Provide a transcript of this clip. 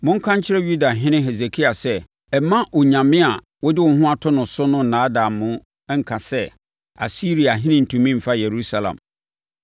“Monka nkyerɛ Yudahene Hesekia sɛ: Ɛmma onyame a wode wo ho ato no so no nnaadaa mo nka sɛ, ‘Asiriahene rentumi mfa Yerusalem.’